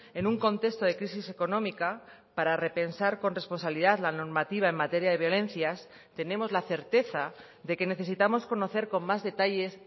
en un contexto de crisis económica para repensar con responsabilidad la normativa en materia de violencias tenemos la certeza de que necesitamos conocer con más detalles